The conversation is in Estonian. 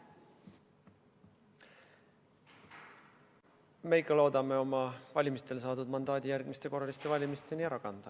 Me ikka loodame oma valimistel saadud mandaadi järgmiste korraliste valimisteni ära kanda.